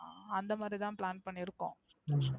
அந்த மாறி தான் plan பண்ணியிருக்கிறோம்.